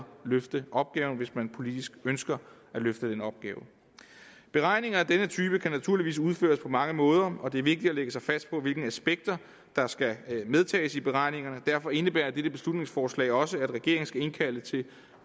løfte opgaven hvis man politisk ønsker at løfte den opgave beregninger af denne type kan naturligvis udføres på mange måder og det er vigtigt at lægge sig fast på hvilke aspekter der skal medtages i beregningerne derfor indebærer dette beslutningsforslag også at regeringen skal indkalde til